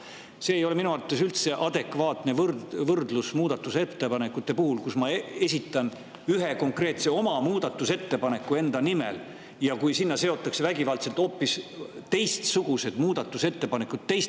See ei ole minu arvates üldse adekvaatne võrdlus muudatusettepanekute puhul, kui ma esitan ühe konkreetse muudatusettepaneku enda nimel, aga sellega seotakse vägivaldselt hoopis teistsugused ja teiste esitatud muudatusettepanekud.